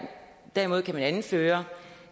derimod kan man anføre